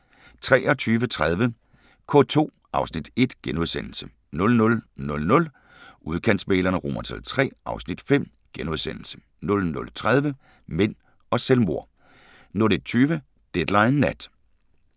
23:30: K2 (Afs. 1)* 00:00: Udkantsmæglerne III (Afs. 5)* 00:30: Mænd og selvmord 01:20: Deadline Nat